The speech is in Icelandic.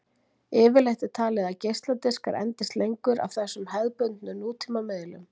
Yfirleitt er talið að geisladiskar endist lengst af þessum hefðbundnu nútíma miðlum.